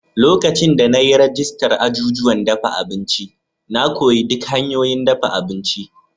Lokacin da na yi rajistar azuzuwan dafa abinci na, na koyi duk hanyoyin dafa abinci.